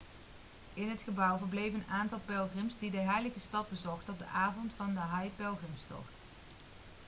in het gebouw verbleven een aantal pelgrims die de heilige stad bezochten op de avond van de hajj-pelgrimstocht